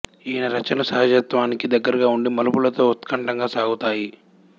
ఈయన రచనలు సహజత్వానికి దగ్గరగా ఉండి మలుపులతో ఉత్కంఠగా సాగుతాయి